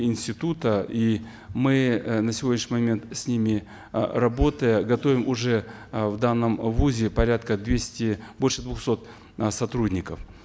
института и мы э на сегодняшний момент с ними э работая готовим уже э в данном вузе порядка двести больше двухсот э сотрудников